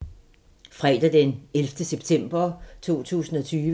Fredag d. 11. september 2020